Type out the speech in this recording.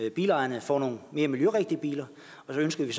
at bilejerne får nogle mere miljørigtige biler og så ønsker vi